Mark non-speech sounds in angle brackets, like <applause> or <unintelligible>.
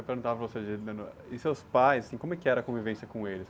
<unintelligible> perguntar para você, <unintelligible> e seus pais, assim, como que era a convivência com eles?